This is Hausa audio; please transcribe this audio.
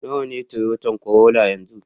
Nawa ne Toyota Corolla yanzu